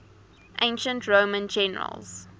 ancient roman generals